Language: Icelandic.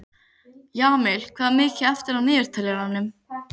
Jamil, hvað er mikið eftir af niðurteljaranum?